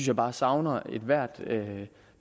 jeg bare savner ethvert